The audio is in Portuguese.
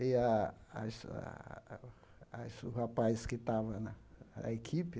e a as a as o rapaz que estava na na equipe.